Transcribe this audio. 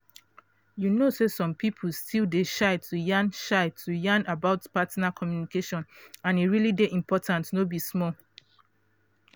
you know say some people still dey shy to yan shy to yan about partner communication and e really dey important no be small